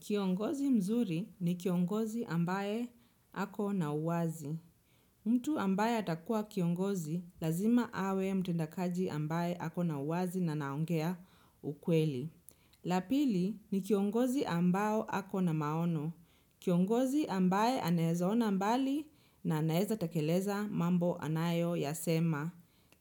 Kiongozi mzuri ni kiongozi ambaye ako na uwazi. Mtu ambaye atakua kiongozi, lazima awe mtendakaji ambaye hako na uwazi na anaongea ukweli. La pili ni kiongozi ambao ako na maono. Kiongozi ambaye anawezaona mbali na anaweza takeleza mambo anayo ya sema.